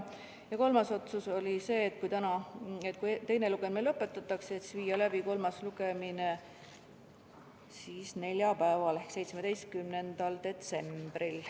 Ja kolmas otsus oli see, et kui täna teine lugemine lõpetatakse, siis teha ettepanek viia kolmas lugemine läbi neljapäeval, 17. detsembril.